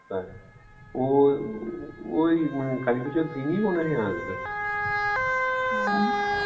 ও ওই কালিপুজর দিনই মনেহয় আসবে